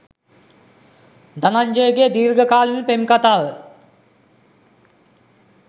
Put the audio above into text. ධනංජයගේ දීර්ඝකාලීන පෙම් කතාව